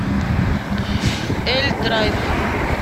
эль драйв